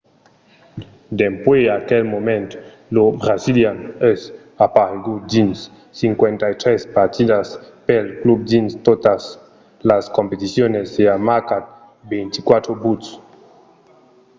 dempuèi aquel moment lo brasilian es aparegut dins 53 partidas pel club dins totas las competicions e a marcat 24 buts